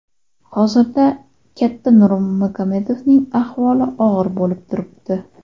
Hozirda katta Nurmagomedovning ahvoli og‘ir bo‘lib turibdi.